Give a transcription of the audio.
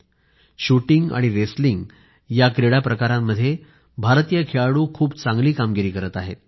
नेमबाजी आणि कुस्ती या क्रीडा प्रकारांमध्ये भारतीय खेळाडू खूप चांगली कामगिरी करीत आहेत